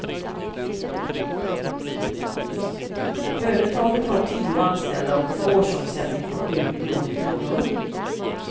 Företaget har tio anställda och en årsomsättning på sju miljoner kronor.